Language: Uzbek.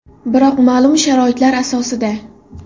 Biroq ma’lum sharoitlar asosida.